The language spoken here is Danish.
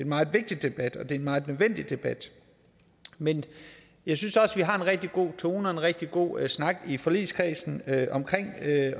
meget vigtig debat det er en meget nødvendig debat men jeg synes også at vi har en rigtig god tone og en rigtig god snak i forligskredsen omkring